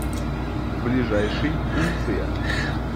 ближайший унция